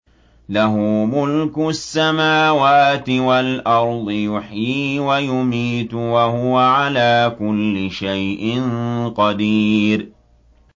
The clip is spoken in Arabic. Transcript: لَهُ مُلْكُ السَّمَاوَاتِ وَالْأَرْضِ ۖ يُحْيِي وَيُمِيتُ ۖ وَهُوَ عَلَىٰ كُلِّ شَيْءٍ قَدِيرٌ